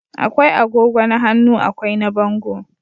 akwai agogo na hannu akwai na bango